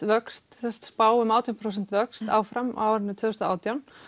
vöxt spá um átján prósent vöxt áfram á árinu tvö þúsund og átján